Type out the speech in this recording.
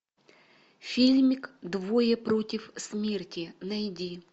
фильмик двое против смерти найди